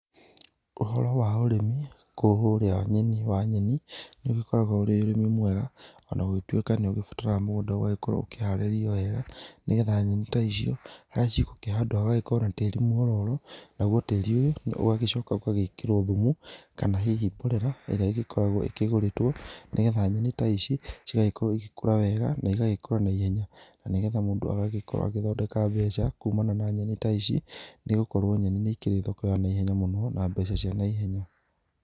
Ũhoro wa ũrĩmi wa nyeni nĩ ũgĩkoragwo ũrĩ ũrĩmi mwega ona gũgĩtuĩlka nĩ ũgĩbataraga mũgũnda ũgagĩkorwo ũharĩrĩirio wega. Nĩ getha nyeni ta icio harĩa cigũkĩhandwo hagagĩkorwo na tĩri mwororo. Naguo tĩri ũyũ ũgagĩcoka ũgagĩkĩrwo thumu kana hihi mborera ĩrĩa igĩkoragwo ĩkĩgũrĩtwo nĩ getha nyeni ta ici, cigagĩkorwo igĩkũra wega. Na igagĩkũra na ihenya na nĩ getha o mũndũ agagĩkorwo agĩthondeka mbeca kumana na nyeni ta ici nĩ gũkorwo nyeni nĩ ikĩrĩ thoko ya naihenya mũno na mbeca cia naihenya.